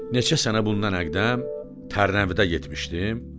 Neçə sənə bundan əqdəm Tərnəvidə getmişdim.